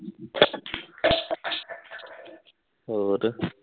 ਹੋਰ